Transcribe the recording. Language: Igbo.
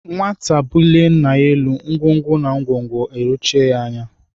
Nwata bulie nna ya elu, ọgọdọ ayọchie ya anya.